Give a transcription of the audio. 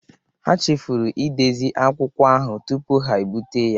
Ha chefuru ịdezi akwụkwọ ahu tụpu ha biputa ya